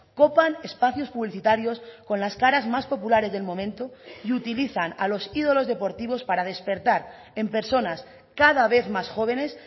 copan espacios publicitarios con las caras más populares del momento y utilizan a los ídolos deportivos para despertar en personas cada vez más jóvenes